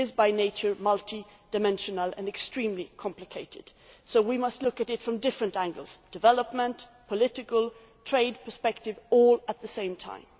It is by nature multidimensional and extremely complicated. So we must look at it from different angles development, political, the trade perspective all at the same time.